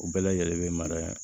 U bɛɛ lajɛlen bɛ mara